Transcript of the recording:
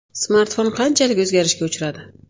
Smartfon qanchalik o‘zgarishga uchradi?.